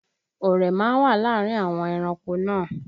Ọ̀rẹ́ má ń wà láàárín àwọn ẹranko náà